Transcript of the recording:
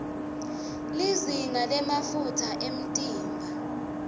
lizinga lemafutsa emtimba